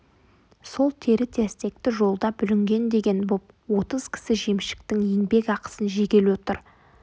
сол тері-терсекті жолда бүлінген деген боп отыз кісі жемшіктің еңбек ақысын жегелі отыр